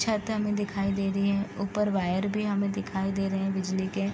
छत हमें दिखाई दे रही है ऊपर वायर भी हमें दिखाई दे रहे हैं बिजली के |